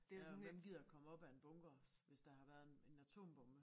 Ja og hvem gider komme op af en bunker hvis der har været en en atombombe